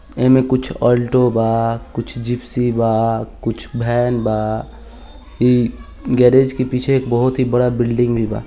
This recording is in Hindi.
एमें कुछ आल्टो बा कुछ जिप्सी बा कुछ वैन बा इ गेरेज के पीछे बहुत ही बड़ा बिल्डिंग बा।